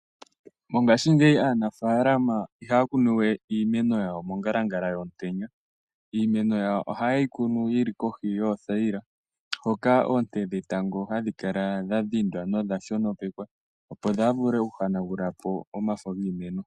Mongaashingeyi aanafaalama ihaya kunu we iimeno yayo mongalangala yomutenya iimeno yayo ohayeyi kunu yili kohi yoothayila hoka oonte dhetango hadhi kala dha dhindwa nodha shonopekwa opo dhaa vule oku hana gulapo omafo giimeno.